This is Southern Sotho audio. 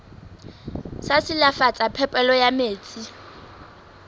sa silafatsa phepelo ya metsi